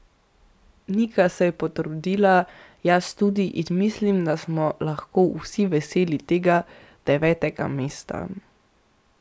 Nika se je potrudila, jaz tudi, in mislim, da smo lahko vsi veseli tega devetega mesta.